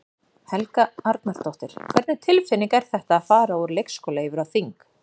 Helga Arnardóttir: Hvernig tilfinning er þetta, að fara úr leikskóla yfir á þing?